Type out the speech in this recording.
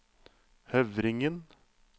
Høvringen